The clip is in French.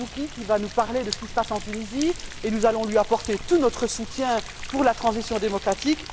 Marzouki, qui va nous parler de ce qui se passe en Tunisie et nous allons lui apporter tout notre soutien pour la transition démocratique.